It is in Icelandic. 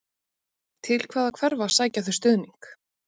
Til hvaða hverfa sækja þau stuðning?